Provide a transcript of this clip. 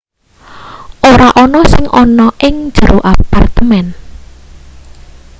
ora ana sing ana ing jero apartemen